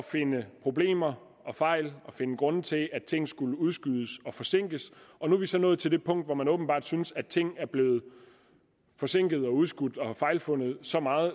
finde problemer og fejl og finde grunde til at ting skulle udskydes og forsinkes nu er vi så nået til det punkt hvor man åbenbart synes at ting er blevet forsinket udskudt og fejlfundet så meget